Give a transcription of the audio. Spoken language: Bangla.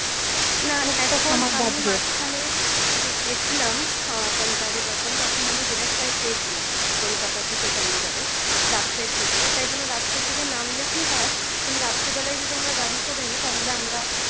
আমি মাঝখানে যে গেছিলাম আহ punjab এ যখন তখন আমি direct flight পেয়েছিলাম kolkata থেকে চন্ডিগড়ের রাত্রের দিকে তাই জন্য রাত্রের দিকে নামলে কি হয় তুমি রাত্রি বেলায় যদি আমরা গাড়ি করে নি তাহলে আমরা